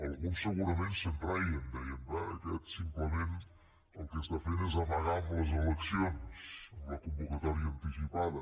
alguns segurament se’n reien deien bé aquest simplement el que està fent és amagar amb les eleccions amb la convocatòria anticipada